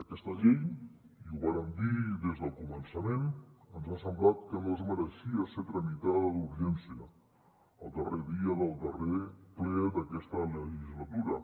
aquesta llei i ho vàrem dir des del començament ens ha semblat que no es mereixia ser tramitada d’urgència el darrer dia del darrer ple d’aquesta legislatura